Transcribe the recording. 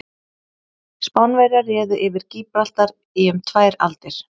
Spánverjar réðu yfir Gíbraltar í um tvær aldir.